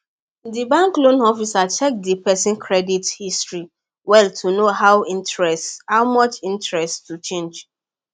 the banks loan officer check the person credit history well to know how much interest to charge